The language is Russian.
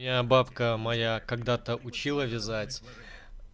бабка моя когда-то учила вязать